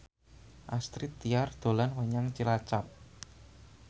Astrid Tiar dolan menyang Cilacap